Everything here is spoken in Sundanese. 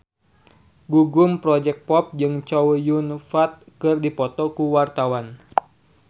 Gugum Project Pop jeung Chow Yun Fat keur dipoto ku wartawan